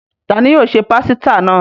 Ta ni yóò se pásítà náà?